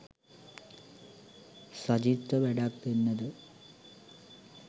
සජිත්ට වැඩක් දෙන්න ද